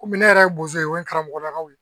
Komi ne yɛrɛ ye bozo ye o ye karamɔgɔlakaw ye